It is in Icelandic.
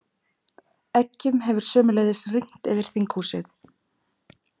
Eggjum hefur sömuleiðis rignt yfir þinghúsið